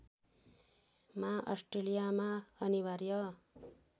मा अस्ट्रेलियामा अनिवार्य